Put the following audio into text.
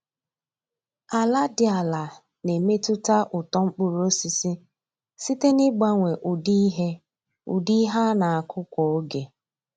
Ala dị ala na-emetụta uto mkpụrụ osisi site n’ịgbanwe ụdị ihe ụdị ihe a na-akụ kwa oge